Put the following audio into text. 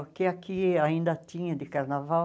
O que aqui ainda tinha de carnaval,